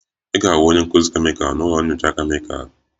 Ị ga-ahụ onye nkuzi kemịkal na ụlọ nyocha kemịkalụ